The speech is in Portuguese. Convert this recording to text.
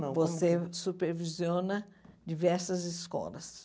Você supervisiona diversas escolas.